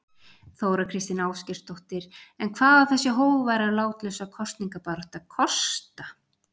Þóra Kristín Ásgeirsdóttir: En hvað á þessi hógværa og látlausa kosningabarátta kosta?